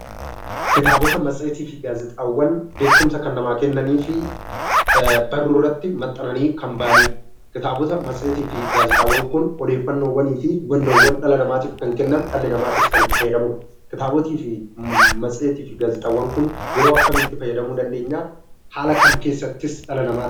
Kitaabota matseetii fi gaazexaawwan beekumsa kan namaa kennanii fi barruu irratti maxxananii kan bahanidha. Kitaabota matseetii fi gaazexaawwan kun odeeffannoowwanii fi hubannoowwan dhala namaatii kan kennan, dhala namaatis kan itti fayyadamudha. Kitaabota matseetii fi gaazexaawwan kun yeroo akkamii itti fayyadamuu dandeenya? Haala kam keessattis dhala namaatiif...?